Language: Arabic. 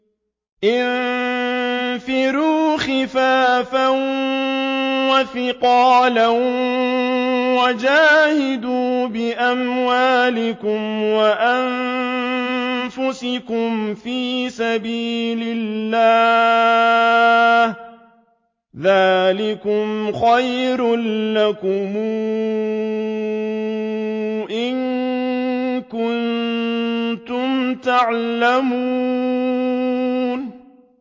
انفِرُوا خِفَافًا وَثِقَالًا وَجَاهِدُوا بِأَمْوَالِكُمْ وَأَنفُسِكُمْ فِي سَبِيلِ اللَّهِ ۚ ذَٰلِكُمْ خَيْرٌ لَّكُمْ إِن كُنتُمْ تَعْلَمُونَ